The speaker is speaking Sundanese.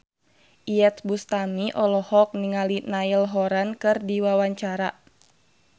Iyeth Bustami olohok ningali Niall Horran keur diwawancara